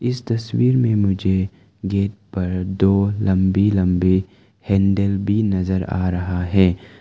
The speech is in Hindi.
इस तस्वीर में मुझे गेट पर दो लंबी लंबे हैंडल भी नजर आ रहा है।